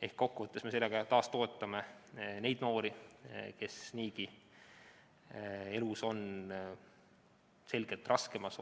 Ehk kokkuvõttes me toetame sellega taas neid noori, kes on niigi elus selgelt raskemas,